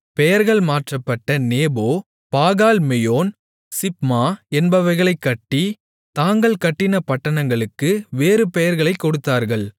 பெயர்கள் மாற்றப்பட்ட Nebo Baalmeon Sibmah என்பவைகளைக் கட்டி தாங்கள் கட்டின பட்டணங்களுக்கு வேறு பெயர்களைக் கொடுத்தார்கள்